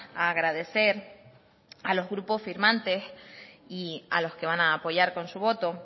a agradecer a los grupos firmantes y a los que van a apoyar con su voto